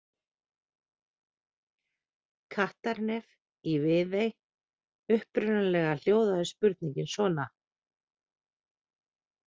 Kattarnef í Viðey Upprunalega hljóðaði spurningin svona: